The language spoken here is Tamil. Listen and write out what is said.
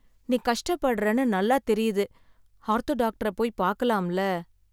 நீ கஷ்டப்படுறேன்னு நல்லா தெரியுது, ஆர்த்தோ டாக்டரை போய் பாக்கலாம்ல?